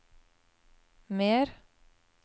mer